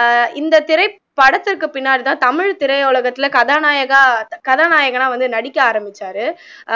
ஆஹ் இந்த திரைப்படத்துக்கு பின்னாடி தான் தமிழ் திரையுலகத்துல கதாநாநாயக கதாநாயகனா நடிக்க அரமிச்சாரு